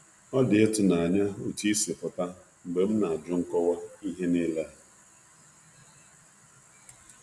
Ọ dị ịtụnanya otú ị si pụta mgbe m na-ajụ nkọwa ihe niile a.